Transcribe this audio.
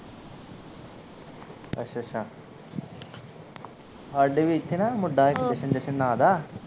ਅੱਛਾ ਅੱਛਾ ਸਾਡੇ ਵੀ ਐਥੇ ਨਾ ਮੁੰਡਾ ਇੱਕ ਜਸ਼ਨ ਜਸ਼ਨ ਨਾ ਦਾ